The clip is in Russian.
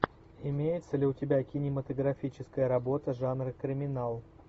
имеется ли у тебя кинематографическая работа жанра криминал